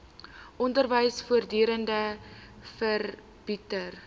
onderwys voortdurend verbeter